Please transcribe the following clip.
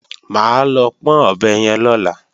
Mà á lọ pọ́n ọ̀bẹ yẹn lọ́la